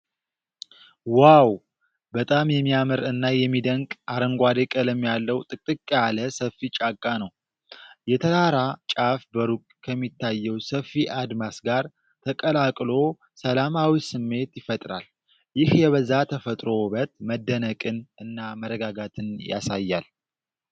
ዋው! በጣም የሚያምር እና የሚደንቅ አረንጓዴ ቀለም ያለው ጥቅጥቅ ያለ ሰፊ ጫካ ነው። የተራራ ጫፍ በሩቅ ከሚታየው ሰፊ አድማስ ጋር ተቀላቅሎ ሰላማዊ ስሜት ይፈጥራል። ይህ የበዛ የተፈጥሮ ውበት መደነቅን እና መረጋጋትን ያሳያል።